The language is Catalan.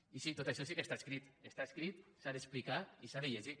i sí tot això sí que està escrit està escrit s’ha d’explicar i s’ha de llegir